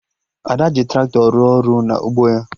Ada ji Traktọ rụọ ọrụ na ugbo ya